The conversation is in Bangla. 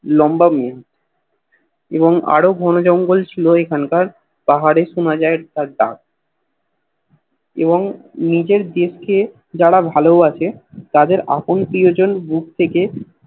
লম্বা বন এবং আরও বন জঙ্গল ছিল এখানকার পাহাড়ে সোনা যায় তার ডাক এবং নিজের দেশ কে যারা ভালোবাসে তাদের আপন প্রিয়জন প্রতেকে